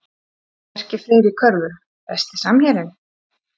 Bjarki Freyr í körfu Besti samherjinn?